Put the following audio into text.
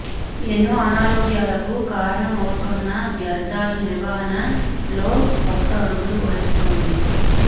ఎన్నో అనారోగ్యాలకు కారణం అవుతోన్న వ్యర్థాల నిర్వహణలో కొత్త అడుగులు వేస్తోంది